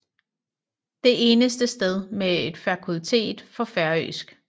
Det eneste sted med et fakultet for færøsk